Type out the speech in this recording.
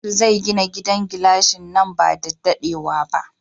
Nasir zai gina gidan gilashi nan ba da daɗewa ba.